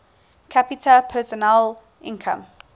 capita personal income